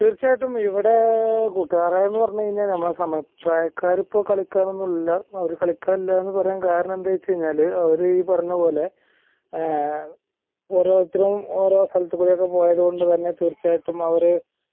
തീർച്ചയായിട്ടും ഇവിടേ കൂട്ടുകാർ എന്ന പറഞ്ഞ് കഴിഞ്ഞാൽ നമ്മളാ സമപ്രായക്കാർ ഇപ്പൊ കളിക്കാൻ ഒന്നില്ല കളിക്കാനില്ലായെന്ന് പറയാൻ കാരണം എന്തവെച്ചകഴിഞ്ഞാൽ അവർ ഈ പറഞ്ഞപോലെ ആഹ് ഓരോത്തരും ഓരോ സ്ഥലത്ത് കൂടി പോയത് കൊണ്ട് തന്നെ തീർച്ചയായിട്ടും ആ ഒര്